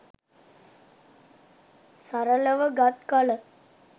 සරලව ගත් කල